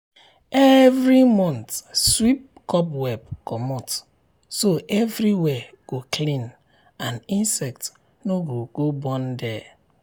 every month sweep cobweb comot so everywhere go clean and insect no go born there.